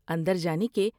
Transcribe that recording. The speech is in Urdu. اندر جانے کے